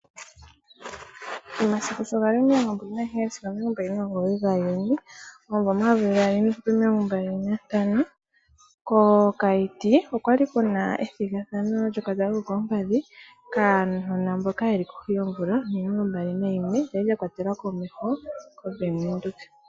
Omasiku shogali omilongo mbali nagaheyali sigo mbali nomugoyi gaJuni omvuo omayovi gaali niihupe omilongo mbali nantano kOkayiti okwali kuna ethigathano lyokatanga kokoompadhi kaanona mboka yeli kohi yoomvula omilongo mbali nayimwe lyali lya kwatelwa komeho koBank Windhoek.